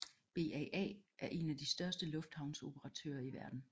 BAA er en af de største lufthavnsoperatører i verden